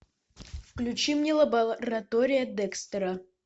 включи мне лаборатория декстера